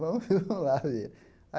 Vamos vamos lá ver.